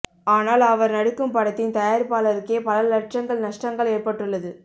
ஆனால் அவர் நடிக்கும் படத்தின் தயாரிப்பாளருக்கே பல லட்சங்கள் நஷ்டங்கள் ஏற்பட்டுள்ளது